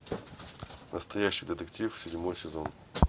настоящий детектив седьмой сезон